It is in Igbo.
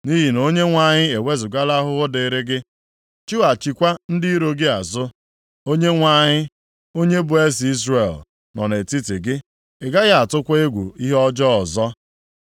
Nʼihi na Onyenwe anyị ewezugala ahụhụ dịrị gị, chụghachikwa ndị iro gị azụ. Onyenwe anyị, onye bụ Eze Izrel, nọ nʼetiti gị. Ị gaghị atụkwa egwu ihe ọjọọ ọzọ.